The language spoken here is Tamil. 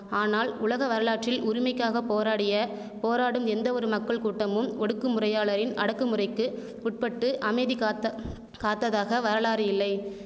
ஆனால் உலக வரலாற்றில் உரிமைக்காக போராடிய போராடும் எந்தவொரு மக்கள் கூட்டமும் ஒடுக்குமுறையாளரின் அடக்குமுறைக்கு உட்பட்டு அமைதிகாத்த காத்ததாக வரலாறு இல்லை